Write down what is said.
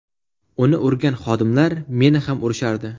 Uni urgan xodimlar meni ham urishardi.